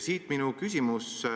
Siit minu küsimus.